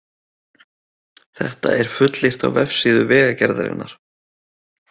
Þetta er fullyrt á vefsíðu Vegagerðarinnar